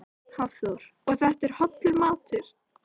Hafþór: Og þetta er hollur matur?